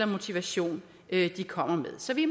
motivation de kommer med så vi